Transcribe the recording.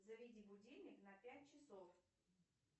заведи будильник на пять часов